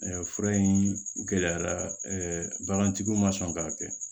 fura in gɛlɛyara bagantigiw ma sɔn k'a kɛ